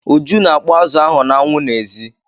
Uju na-akpọ azụ ahụ n'anwụ n'èzí.